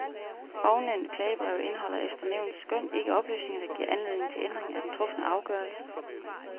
Ovennævnte klagebreve indeholder efter nævnets skøn ikke oplysninger, der giver anledning til ændring af den trufne afgørelse.